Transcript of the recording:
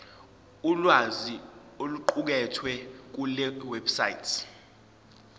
ulwazi oluqukethwe kulewebsite